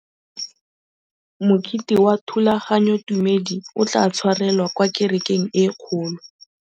Mokete wa thulaganyôtumêdi o tla tshwarelwa kwa kerekeng e kgolo.